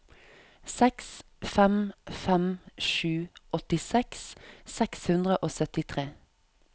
seks fem fem sju åttiseks seks hundre og syttitre